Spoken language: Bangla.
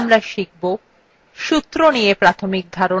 সূত্র নিয়ে প্রাথমিক ধারণা